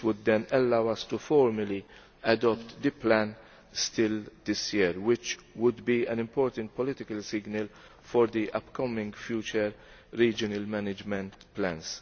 This would then allow us formally to adopt the plan this year which would be an important political signal for the upcoming future regional management plans.